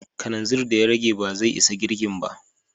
Kananzir da ya rage ba zai isa girkin ba.